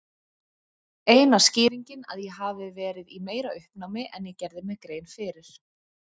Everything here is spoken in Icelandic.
Eina skýringin að ég hafi verið í meira uppnámi en ég gerði mér grein fyrir.